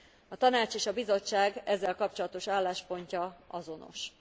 A Tanács és a Bizottság ezzel kapcsolatos álláspontja azonos.